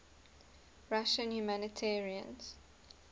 russian humanitarians